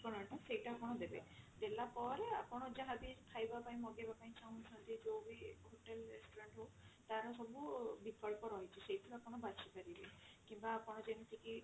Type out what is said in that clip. ଠିକଣା ଟା ସେଇଟା ଆପଣ ଦେବେଦେଲା ପରେ ଆପଣ ଯାହାବି ଖାଇବା ପାଇଁ ମଗେଇବା ପାଇଁ ଚାହୁଁଛନ୍ତି ଯଉ ବି hotel restaurant ହଉ ତାର ସବୁ ବିକଳ୍ପ ରହିଛି ସେଇଥିରୁ ଆପଣ ବାଛି ପାରିବେ କିମ୍ବା ଆପଣ ଯେମତି କି